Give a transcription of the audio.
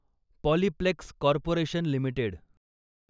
Polyplex corporation limited